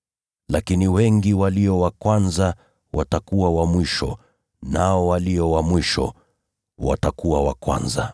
Lakini wengi walio wa kwanza watakuwa wa mwisho, na walio wa mwisho watakuwa wa kwanza.